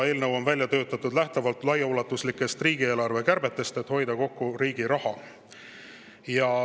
Eelnõu on välja töötatud lähtuvalt laiaulatuslikest riigieelarve kärbetest, et hoida kokku riigi raha.